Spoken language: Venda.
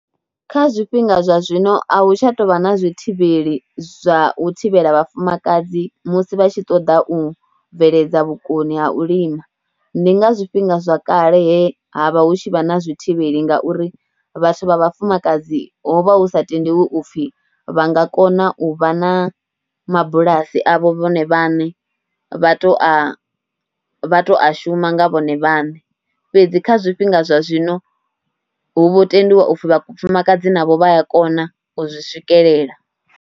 Kha zwifhinga zwa zwino a hu tsha tou vha na zwi thivheli zwa u thivhela vhafumakadzi musi vha tshi ṱoḓa u bveledza vhukoni ha u lima, ndi nga zwifhinga zwa kale he ha vha hu tshi vha na zwithivheli ngauri vhathu vha vhafumakadzi ho vha hu sa tendiwi u pfhi vha nga kona u vha na mabulasi avho vhone vhaṋe, vha tou a, vha tou a shuma nga vhone vhaṋe fhedzi. Kha zwifhinga zwa zwino hu vho tendiwa u pfhi vhafumakadzi navho vha a kona u zwi swikelela.